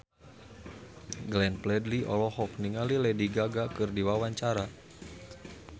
Glenn Fredly olohok ningali Lady Gaga keur diwawancara